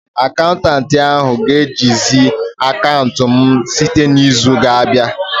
Akaụntanti ahu ga-ejizi akaụntụ m site n'izu na-abịa